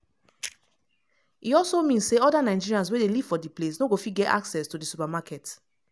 e also mean say oda nigerians wey dey live for di place no go fit get access to di supermarket.”